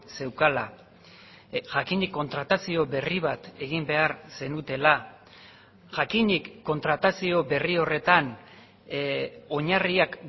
zeukala jakinik kontratazio berri bat egin behar zenutela jakinik kontratazio berri horretan oinarriak